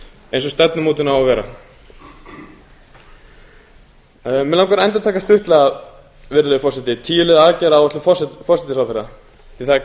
eins og stefnumótun á að vera mig langar að endurtaka stuttlega virðulegi forseti tíu liða aðgerðaáætlun forsætisráðherra því það er